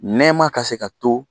Nɛɛma ka se ka to